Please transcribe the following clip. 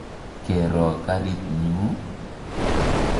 Ke ro karit nyu ii?